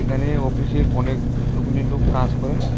এখানে অফিসে অনেকগুলো গুলি লোক কাজ করে।